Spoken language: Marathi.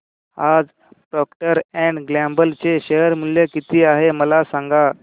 आज प्रॉक्टर अँड गॅम्बल चे शेअर मूल्य किती आहे मला सांगा